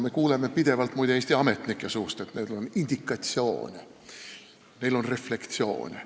Me kuuleme pidevalt Eesti ametnike suust, et neil on indikatsioone, neil on refleksioone.